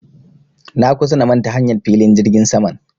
Na kusa na manta hanyar filin jirgin sama